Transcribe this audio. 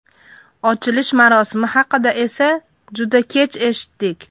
Ochilish marosimi haqida esa juda kech eshitdik.